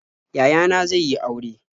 Yaya na ne zai yi aure.